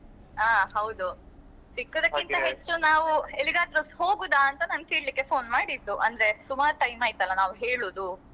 ಹ ಹೌದು ಸಿಕ್ಕುದಕ್ಕಿಂತ ಹೆಚ್ಚು ನಾವು ಎಲ್ಲಿಗಾದ್ರುಸ ಹೋಗುದ ಅಂತ ನಾನ್ ಕೇಳಿಕ್ಕೆ phone ಮಾಡಿದ್ದು ಅಂದ್ರೆ ಸುಮಾರ್ time ಆಯ್ತಲ್ಲ ನಾವ್ ಹೇಳುದು.